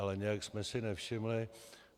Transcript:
Ale nějak jsme si nevšimli...